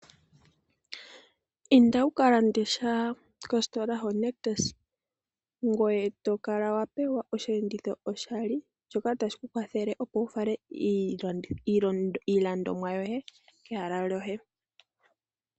Inda wuka lande sha kositola yoNictus ngoye tokala wapewe osheenditho shoye oshali shoka tashi kukwathele opo wufale iilandomwa yohe kehala lyoye.